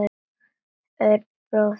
Örn bróðir er fallinn frá.